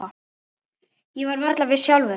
Ég var varla viss sjálf.